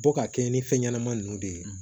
Bɔ ka kɛɲɛ ni fɛn ɲɛnama ninnu de ye